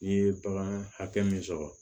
N'i ye bagan hakɛ min sɔrɔ